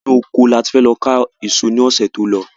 Inú ọkọ ni a ti fẹ lọ ká èso ní ọsẹ tí o lo